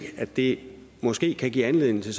at det måske kan give anledning til